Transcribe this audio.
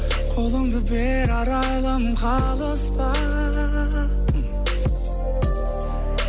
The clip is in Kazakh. қолыңды бер арайлым қалыспа